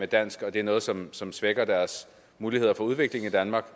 dansk og det er noget som som svækker deres muligheder for udvikling i danmark